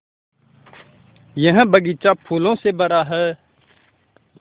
यह बग़ीचा फूलों से भरा है